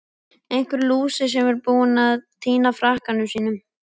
Einhver lúser sem er búinn að týna frakkanum sínum!